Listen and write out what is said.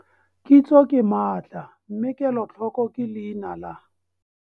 Kitso ke maatla mme KELOTLHOKO ke leina la!